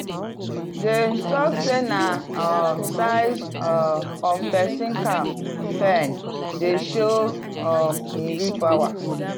dem talk say na um size um of person cow pen dey show um him real power.